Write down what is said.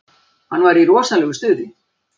Hann var í rosalegu stuði.